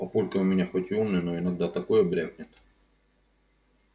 папулька у меня хоть и умный но иногда такое брякнет